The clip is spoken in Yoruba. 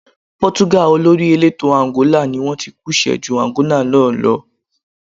Pọ́túgà olórí elétò Àǹgólà ni wón tí kú ṣẹ ju Àǹgólà náà lọ.